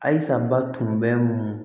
Ayisaba tun bɛ mun